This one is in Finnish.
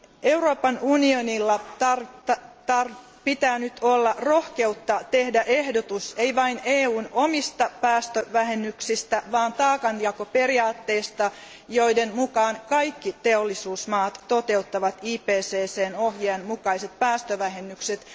Euroopan unionilla pitää nyt olla rohkeutta tehdä ehdotus, ei vain EUn omista päästövähennyksistä, vaan taakanjakoperiaatteesta, jonka mukaan kaikki teollisuusmaat toteuttavat IPCCn ohjeen mukaiset päästövähennykset.